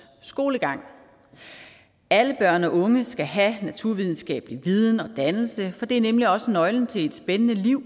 skolegang alle børn og unge skal have en naturvidenskabelig viden og dannelse for det er nemlig også nøglen til et spændende liv